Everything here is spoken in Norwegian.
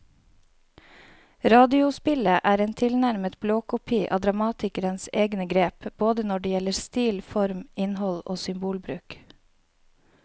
Radiospillet er en tilnærmet blåkopi av dramatikerens egne grep både når det gjelder stil, form, innhold og symbolbruk.